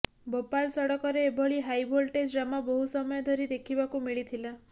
ଭୋପାଳ ସଡକରେ ଏଭଳି high voltage drama ବହୁ ସମୟ ଧରି ଦେଖିବାକୁ ମିଳିଥିଲା